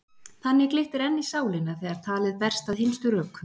Þannig glittir enn í sálina þegar talið berst að hinstu rökum.